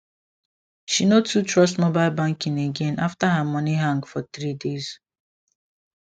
she no too trust mobile banking again after her money hang for three days